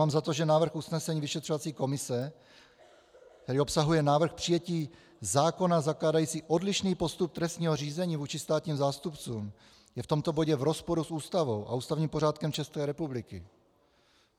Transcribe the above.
Mám za to, že návrh usnesení vyšetřovací komise, který obsahuje návrh přijetí zákona zakládajícího odlišný postup trestního řízení vůči státním zástupcům, je v tomto bodě v rozporu s Ústavou a ústavním pořádkem České republiky.